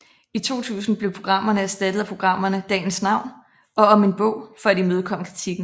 I 2000 blev programmerne erstattet af programmerne Dagens Navn og Om en bog for at imødekomme kritikken